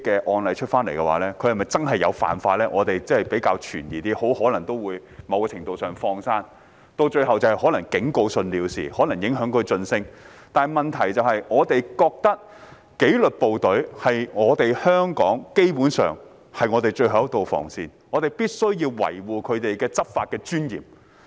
我們較有疑問的是，他們很可能都會獲某程度"放生"，最後可能是以警告信了事，或可能影響晉升，但問題是我們認為紀律部隊基本上是我們香港的最後一道防線，因此必須維護他們的執法尊嚴。